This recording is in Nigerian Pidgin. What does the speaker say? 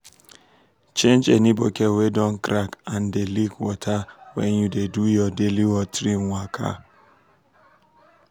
change any bucket wey don crack and dey leak water when you dey do your daily watering waka.